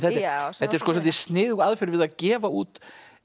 þetta er svolítið sniðug aðferð við að gefa út